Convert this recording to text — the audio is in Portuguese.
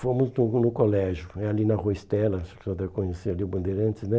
Fomos tudo no colégio, é ali na rua Estela, vocês devem conhecer ali o Bandeirantes, né?